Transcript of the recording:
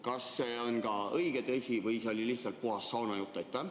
Kas see on ka õige või see oli lihtsalt puhas saunajutt?